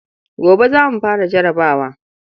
Gobe za mu fara jarabawa.